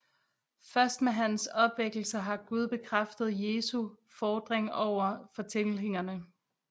Først med hans opvækkelse har Gud bekræftet Jesu fordring over for tilhængerne